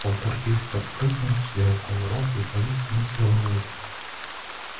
полтергейст подпрыгнул сделал кувырок и повис вниз головой